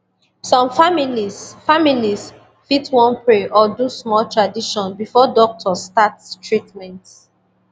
some families families fit wan pray or do small tradition before doctor start treatment